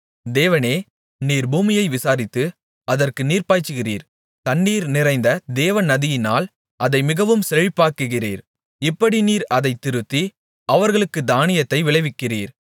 தேவனே நீர் பூமியை விசாரித்து அதற்கு நீர்ப்பாய்ச்சுகிறீர் தண்ணீர் நிறைந்த தேவநதியினால் அதை மிகவும் செழிப்பாக்குகிறீர் இப்படி நீர் அதைத் திருத்தி அவர்களுக்குத் தானியத்தை விளைவிக்கிறீர்